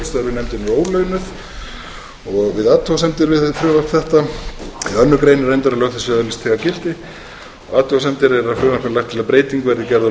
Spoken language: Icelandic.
ólaunuð athugasemdir við frumvarp þetta annars grein er reyndar lög þessi öðlist þegar gildi athugasemdir eru að í frumvarpinu er lagt til að breyting verði gerð á